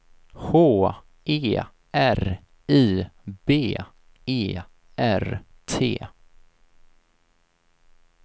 H E R I B E R T